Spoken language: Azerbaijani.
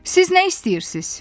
Siz nə istəyirsiz?